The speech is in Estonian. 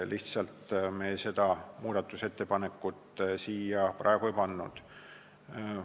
Me seda muudatusettepanekut siia praegu lihtsalt ei pannud.